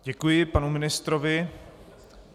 Děkuji panu ministrovi.